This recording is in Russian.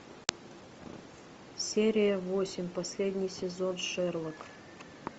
серия восемь последний сезон шерлок